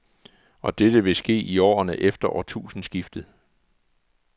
Og dette vil ske i årene efter årtusindskiftet.